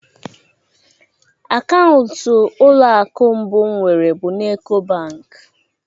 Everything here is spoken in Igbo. Akaụntụ ụlọ akụ mbụ m nwere bụrụ na Ek.o Bank